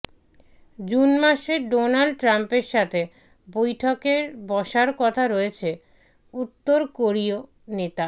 June মাসে Donald ট্রাম্পের সাথে বৈঠকের বসার কথা রয়েছে উত্তর কোরীয় নেতার